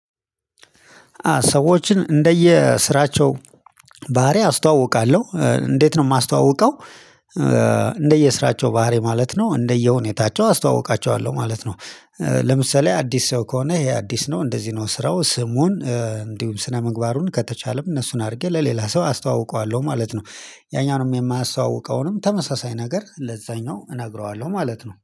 ሰዎችን እንደየ ስራቸው ባህሪ አስተዋውቃለሁ እንዴት ነው የማስተዋውቀው እንደየስራቸው ባህሪ ማለት ነው እንደየሁኔታቸው አስተዋውቃቸዋለሁ ማለት ነው። ለምሳሌ አዲስ ሰው ከሆነ ይሄ አዲስ ነው እንደዚህ ነው ስራው ስሙን እንዲሁም ስነ ምግባሩን ከተቻለም እነሱን አድርጌ ለሌላ ሰው አስተዋውቀዋለሁ ማለት ነው። ያኛውንም የማስተዋውቀውንም ተመሳሳይ ነገር ለዛኛው እነግረዋለሁ ማለት ነው